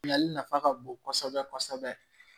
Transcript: Bilali nafa ka bon kosɛbɛ kosɛbɛ